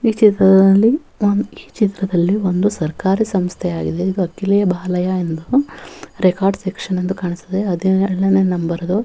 ಈ ಚಿತ್ರದಲ್ಲಿ ಹಮ್ ಚಿತ್ರದಲ್ಲಿ ಒಂದು ಸರ್ಕಾರೀ ಸಂಸ್ಥೆಯಾಗಿದೆ ವಕೀಲೆ ಬಾಲಯ್ಯ ಎಂದು ರೆಕಾರ್ಡ್ ಸೆಕ್ಷನ್ ಎಂದು ಕಾಣಿಸುತ್ತದೆ ಅದೇ ಆರನೇ ನಂಬರ್ ಅದು .